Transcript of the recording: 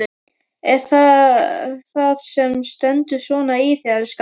Er það það sem stendur svona í þér, elskan?